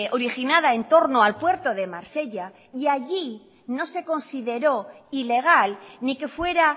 originada en torno al puerto de marsella y allí no se consideró ilegal ni que fuera